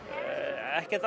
ekkert